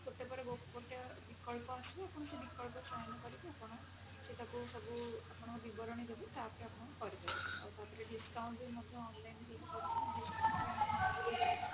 ଗୋଟେ ପରେ ଗୋଟେ ବିକଳ୍ପ ଆସିବା ଆପଣ ସେ ବିକଳ୍ପରେ ଚୟନ କରିକି ଆପଣ ସେଟାକୁ ସବୁ ଆପଣ ବିବରଣୀ ଦେବେ ତାପରେ ଆପଣ କରିପାରିବେ ଆଉ ତାପରେ ବି discount ବି ମଧ୍ୟ online ହେଇପାରିବ